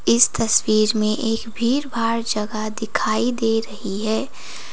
इस तस्वीर में एक भीड़ भाड़ जगह दिखाई दे रही है।